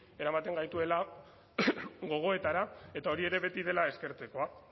eramaten gaituela gogoetara eta hori ere beti dela eskertzekoa